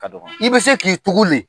I bɛ se k'i tugun le.